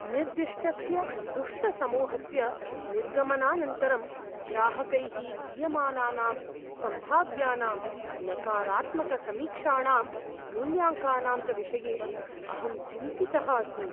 निर्दिष्टस्य दुष्टसमूहस्य निर्गमनानन्तरं ग्राहकैः दीयमानानां सम्भाव्यानां नकारात्मकसमीक्षाणां, मूल्याङ्कनां च विषये अहं चिन्तितः अस्मि।